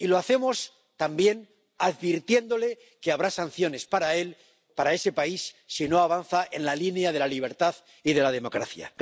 Y lo hacemos también advirtiéndole de que habrá sanciones para ese país si no avanza en la línea de la libertad y de la democracia.